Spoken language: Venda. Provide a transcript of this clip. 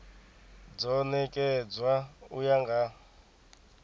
do nekedzwa u ya nga